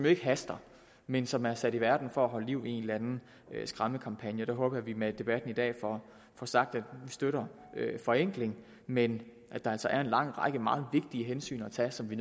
ikke haster men som er sat i verden for at holde liv i en eller anden skræmmekampagne jeg håber at vi med debatten i dag får sagt at vi støtter forenkling men at der altså er en lang række meget vigtige hensyn at tage som vi